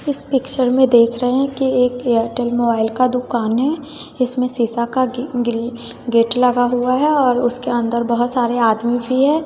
इस पिक्चर में देख रहे हैं की एक एयरटेल मोबाइल का दुकान है इसमें सीसा का गेट लगा हुआ है और उसके अंदर बहोत सारे आदमी भी है।